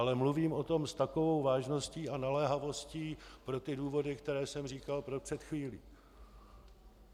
Ale mluvím o tom s takovou vážností a naléhavostí pro ty důvody, které jsem říkal před chvílí.